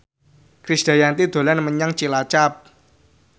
Krisdayanti dolan menyang Cilacap